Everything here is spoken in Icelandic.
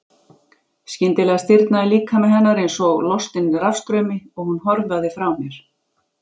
Skyndilega stirðnaði líkami hennar einsog lostin rafstraumi og hún hörfaði frá mér.